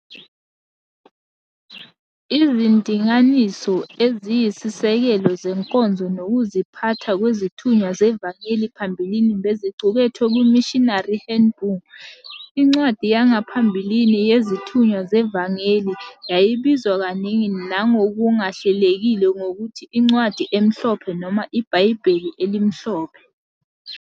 Izindinganiso eziyisisekelo zenkonzo nokuziphatha kwezithunywa zevangeli phambilini beziqukethwe kwi- "Missionary Handboo. I"ncwadi yangaphambilini "yezithunywa zevangeli" yayibizwa kaningi nangokungahlelekile ngokuthi "incwadi emhlophe" noma "ibhayibheli elimhlophe".